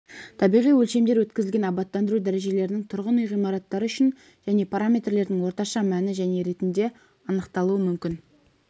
табиғи өлшемдер өткізілген абаттандыру дәрежелерінің тұрғын үй ғимараттары үшін және параметрлердің орташа мәні және ретінде анықталуы мүмкін